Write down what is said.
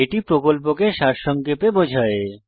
এটি প্রকল্পকে সারসংক্ষেপে বোঝায়